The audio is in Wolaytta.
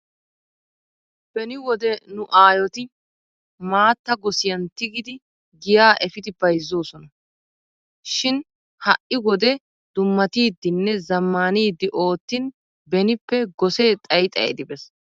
Beni wode nu aayoti maatta gosiyan tigidi giya efidi bayzzoosona. Shin ha"i wode dummatidinne zammaanidi oottin benippe gosee xayi xayidi beesi.